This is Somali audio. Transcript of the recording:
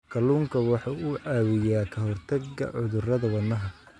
Kalluunku waxa uu caawiyaa ka hortagga cudurrada wadnaha.